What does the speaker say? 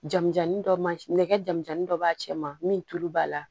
Janjan dɔ ma nɛgɛ jamu jan ni dɔ b'a cɛ ma min tulu b'a la